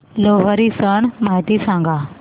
लोहरी सण माहिती सांगा